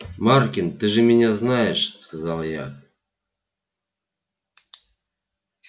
маркин ты же меня знаешь сказал я